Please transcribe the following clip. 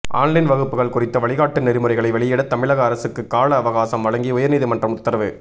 online வகுப்புகள் குறித்த வழிகாட்டு நெறிமுறைகளை வெளியிட தமிழக அரசுக்கு கால அவகாசம் வழங்கி உயா்நீதிமன்றம் உத்தரவு